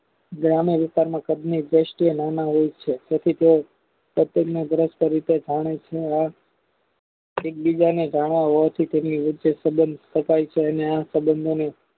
ગ્રામ્ય વિસ્તારમાં કાળની દ્રષ્ટિએ નાના હોય છે તેથી તે એકબીજાને જાડા હોવાથી તેમની વચ્ચે સબંધ તકાય છે અને સંબંધમાં